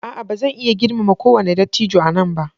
A'a! Ba zan iya girmama kowane dattijo a nan ba.